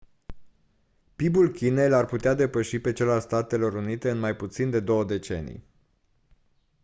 pib-ul chinei l-ar putea depăși pe cel al statelor unite în mai puțin de două decenii